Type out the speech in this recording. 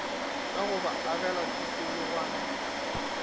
ka go ba agela tikologwana